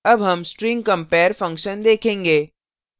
अब हम string compare function देखेंगे